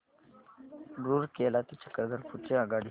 रूरकेला ते चक्रधरपुर ची आगगाडी